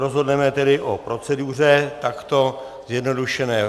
Rozhodneme tedy o proceduře takto zjednodušeně.